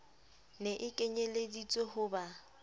ne e kenyelleditswe ho ba